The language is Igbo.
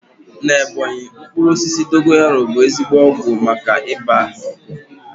Na Ebọnyi, mkpụrụ osisi dogoyaru bụ ezigbo ọgwụ maka ibàa ahụ ọkụ